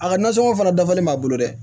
A ka nasɔngɔ fana dafalen b'a bolo dɛ